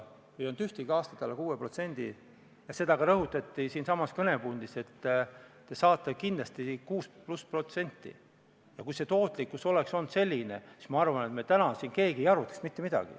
Minu küsimus tõukub kolleeg Aivar Sõerdi küsimusest.